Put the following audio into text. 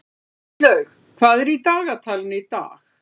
Íslaug, hvað er í dagatalinu í dag?